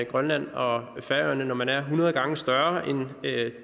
grønland og færøerne når man er hundrede gange større end